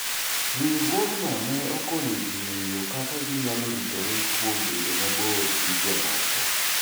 Riwruogno ne okonyo ji ng'eyo kaka ginyaloritore kuom bedo mabor gi jomoko.